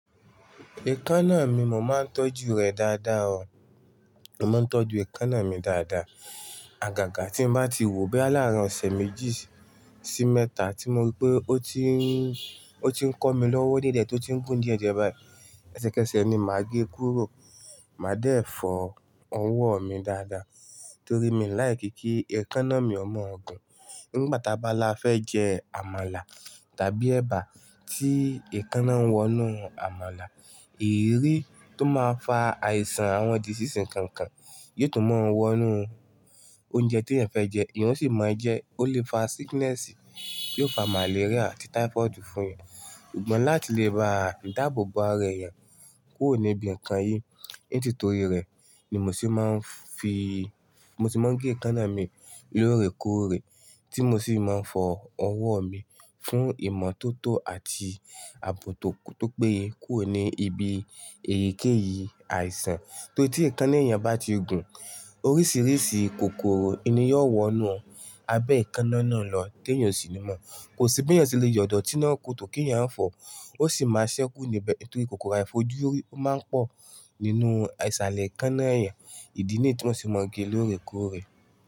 Èékánná mi mo máa ń tọ́jú rẹ̀ dáadáa o. Mo máa ń tọ́jú èékánná mi dáadáa. Àgàgà tí n bá ti wò ó bí lárin ọ̀sẹ̀ méjì sí mẹ́ta tí mo rí pé ó ti ń, ó ti ń kọ́ mi lọ́wọ́ di ẹ̀ di è tó ti ń gùn di è di ẹ̀ báyìí, èṣẹ̀kẹ́ṣẹ̀ ni màá gé e kúrò. Màá dé fọ ọwọ́ mi dáadáa torí mi ò láì kí kí èékánná mi ó mú ọ̀gun. Nígbà ta bá la fẹ́ jẹ àmàlà tàbí ẹba tí èékánná ń wọnú àmàlà, èríri tó máa fa àìsàn àwọn disease nkànkàn yóò tún máa wọnú óúnjẹ tí eyan fẹ́ jẹ. Èèyàn sì máa jẹ, ó lè fa sickness, yóò fa màléríà àti typhoid fún ẹ. Sugbon láti lè ba dáàbòbo ara ẹyàn kúrò ní ibi nǹkan yìí nítorí rẹ̀ ni mo sì máa ń fi, mo sì máa ń gé èékánná mi lóòrèkóòrè tí mo sì máa ń fọ ọwọ́ mi fún ìmọ́tótó àti ààbò tó péye kúrò ní ibi èyíkéyìí àìsàn. Torí tí èékánná ẹ̀yàn bá ti gùn, oríṣìíríṣìí kòkòrò ni yóò wọnú abẹ́ èékánná náà lọ tí èèyàn o sì ní mọ̀. Kò sí bí ẹ̀yàn ṣe lè yọ ọ̀tíná ku o tó kí ẹ̀yàn fọ̀ ọ́. Ó sì máa ṣẹ́kú níbẹ̀ n torí kòkòrò àìfojúrí ó máa ń pọ̀ nínú àìṣàlẹ̀ èékánná ẹ̀yàn ìdí nì tí wọ́n sì máa ń gé lóòrèkóòrè.